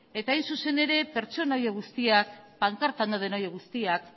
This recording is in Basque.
eta hain zuzen ere pertsonaia guztiak pankartan dauden horiek guztiak